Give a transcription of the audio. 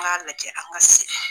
An ka lajɛ an ka